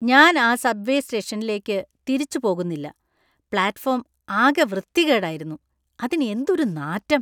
ഞാൻ ആ subway സ്റ്റേഷനിലേക്ക് തിരിച്ച് പോകുന്നില്ല. പ്ലാറ്റ്ഫോം ആകെ വൃത്തികേടായിരുന്നു , അതിനു എന്തൊരു നാറ്റം .